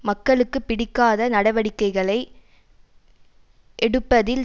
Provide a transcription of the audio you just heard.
மக்களுக்கு பிடிக்காத நடவடிக்கைகளை எடுப்பதில்